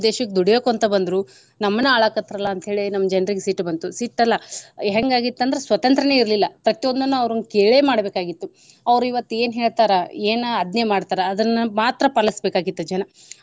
ನಮ್ಮ ದೇಶಕ್ಕ ದುಡಿಯೋಕ ಅಂತ ಬಂದ್ರು ನಮ್ಮನ ಆಳಾಕತ್ರಲಾ ಅಂತ ಹೇಳೆ ನಮ್ಮ ಜನ್ರಿಗೆ ಸಿಟ್ಟ ಬಂತು. ಸಿಟ್ಟ ಅಲ್ಲಾ ಹೆಂಗ ಆಗಿತ್ತ ಅಂದ್ರ ಸ್ವತಂತ್ರ್ಯನ ಇರ್ಲಿಲ್ಲಾ ಪ್ರತಿಯೊಂದನ್ನು ಅವ್ರನ್ನ ಕೇಳೇ ಮಾಡಬೇಕಾಗಿತ್ತು. ಅವ್ರ ಇವತ್ತ ಏನ ಹೇಳ್ತಾರ ಏನ ಆಜ್ಞೆ ಮಾಡ್ತಾರ ಅದನ್ನ ಮಾತ್ರ ಪಾಲಸಬೇಕಾಗಿತ್ತು ಜನ.